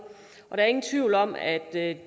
der er ingen tvivl om at